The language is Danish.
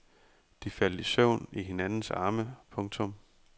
De faldt i søvn i hinandens arme. punktum